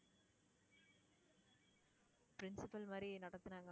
principal மாதிரி நடத்தினாங்க.